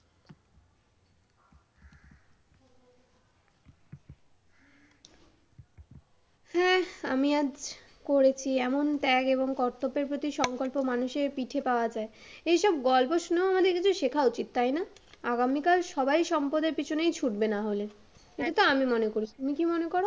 হ্যাঁ, আমি আজ করেছি এমন ত্যাগ এবং কর্তব্যের প্রতি সংকল্প মানুষের পিছে পাওয়া যায়। এসব গল্প শুনেও আমাদের কিছু শেখা উচিত তাই না? আগামীকাল সবাই সম্পদের পিছনেই ছুটবে নাহলে, এটা তো আমি মনে করি তুমি কি মনে কর?